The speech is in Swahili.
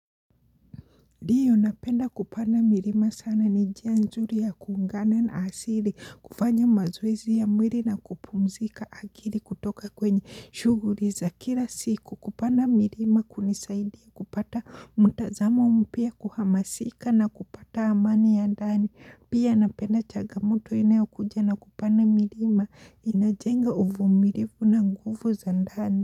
Ndio napenda kupanda milima sana ni njia nzuri ya kuungana na asili, kufanya mazoezi ya mwili na kupumzika akili kutoka kwenye shughuli za kila siku kupanda milima kunisaidia kupata mtazamo mpya kuhamasika na kupata amani ya ndani. Pia napenda changamoto inayokuja na kupanda milima, inajenga uvumilivu na nguvu za ndani.